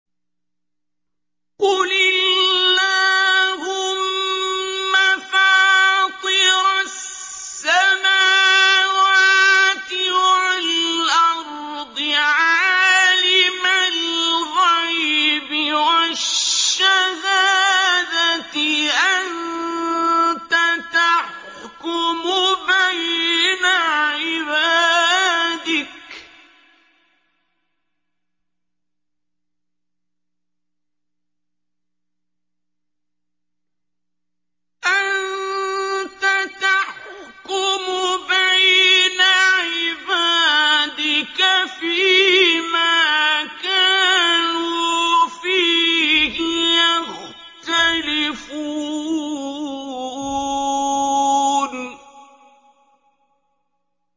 قُلِ اللَّهُمَّ فَاطِرَ السَّمَاوَاتِ وَالْأَرْضِ عَالِمَ الْغَيْبِ وَالشَّهَادَةِ أَنتَ تَحْكُمُ بَيْنَ عِبَادِكَ فِي مَا كَانُوا فِيهِ يَخْتَلِفُونَ